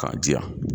K'a di yan